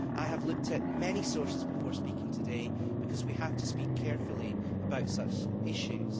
I have looked at many sources before speaking today, because we have to speak carefully about such issues.